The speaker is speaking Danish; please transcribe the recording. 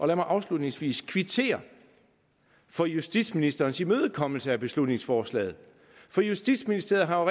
lad mig afslutningsvis kvittere for justitsministerens imødekommelse af beslutningsforslaget justitsministeriet har